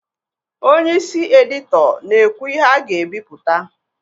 Onye isi edito na ekwu ihe a ga ebipụta